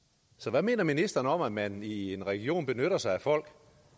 hvad mener ministeren så om at man i en region benytter sig af folk